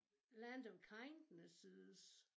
Land of Kindnesses